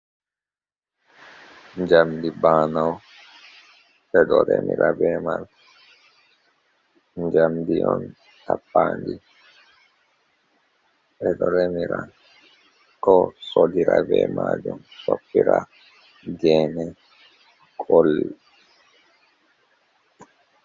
Jamdi banaeo, ɓedo remira be man, jamdi on tappandi, ɓedo remira, ko sodira be majum, sobpira gene kol.